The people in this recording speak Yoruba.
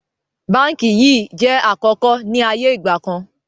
Báńkì yìí jẹ̀ àkọ́kọ́ ni ayé ìgbàkan